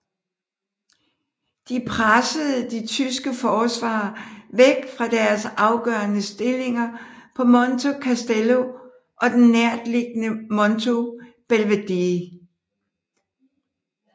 De pressede de tyske forsvarere væk fra deres afgørende stillinger på Monte Castello og den nærtliggende Monte Belvedere